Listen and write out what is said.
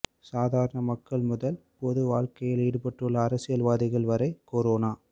சாதாரண மக்கள் முதல் பொது வாழக்கையில் ஈடுபட்டுள்ள அரசியல்வாதிகள் வரை கொரோனா